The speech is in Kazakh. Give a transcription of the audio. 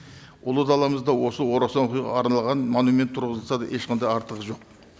ұлы даламызда осы орасан оқиғаға арналған монумент тұрғызылса да ешқандай артығы жоқ